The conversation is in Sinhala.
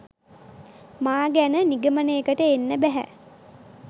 මා ගැන නිගමනයකට එන්න බැහැ.